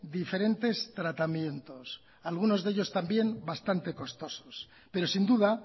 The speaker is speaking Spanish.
diferentes tratamientos algunos de ellos también bastante costosos pero sin duda